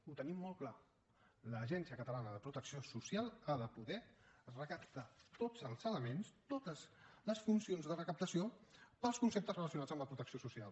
ho tenim molt clar l’agència catalana de protecció social ha de poder recaptar tots els elements totes les funcions de recaptació per als conceptes relacionats amb la protecció social